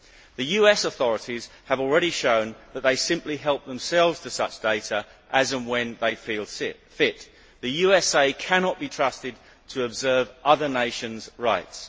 The US authorities have already shown that they simply help themselves to such data as and when they feel fit. The USA cannot be trusted to observe other nations' rights.